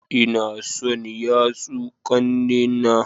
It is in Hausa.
Ina son yatsu kannena